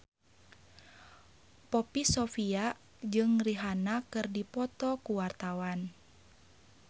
Poppy Sovia jeung Rihanna keur dipoto ku wartawan